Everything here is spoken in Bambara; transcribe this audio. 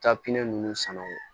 ninnu sanna o